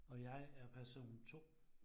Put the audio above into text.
Og jeg er person 2